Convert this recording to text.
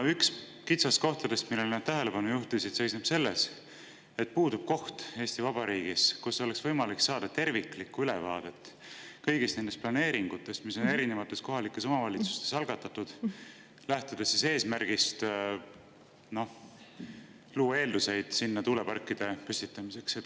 Üks kitsaskohtadest, millele nad tähelepanu juhtisid, seisneb selles, et Eesti Vabariigis puudub koht, kust oleks võimalik saada terviklikku ülevaadet kõigi nende planeeringute kohta, mis on erinevates kohalikes omavalitsustes algatatud, lähtudes eesmärgist luua eeldusi sinna tuuleparkide püstitamiseks.